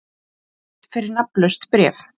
Dæmd fyrir nafnlaust bréf